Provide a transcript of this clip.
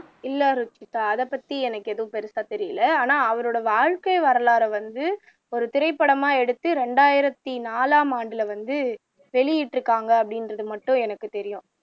இல்ல ருஷிதா அதைப்பத்தி எனக்கு எதுவும் பெருசா தெரியல ஆனா அவரோட வாழ்க்கை வரலாற வந்து ஒரு திரைப்படமா எடுத்து இரண்டாயிரத்து நாலாம் ஆண்டுல வந்து வெளியிட்டுருக்காங்க அப்படிங்கிறது மட்டும் எனக்கு தெரியும்